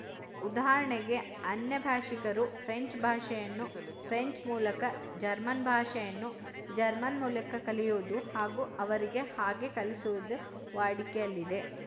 ಉದಾಹರಣೆಗೆ ಅನ್ಯಭಾಶಿಕರು ಫ್ರೆಂಚ್ ಭಾಷೆಯನ್ನು ಫ್ರೆಂಚ್ ಮೂಲಕ ಜರ್ಮನ್ ಭಾಷೆಯನ್ನು ಜರ್ಮನ್ ಮೂಲಕ ಕಲಿಯುವುದು ಹಾಗೂ ಅವರಿಗೆ ಹಾಗೆ ಕಲಿಸುವುದು ವಾಡಿಕೆಯಲ್ಲಿದೆ